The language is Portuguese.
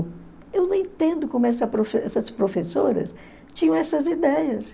Eu não entendo como essa profe essas professoras tinham essas ideias.